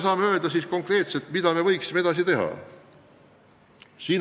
Mida konkreetset me võiksime edasi teha?